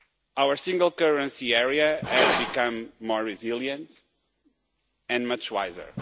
Our single currency area has become more resilient and much wiser.